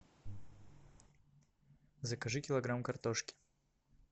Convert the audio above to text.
закажи килограмм картошки